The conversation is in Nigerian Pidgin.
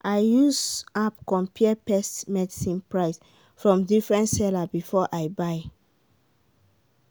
i use app compare pest medicine price from different seller before i buy.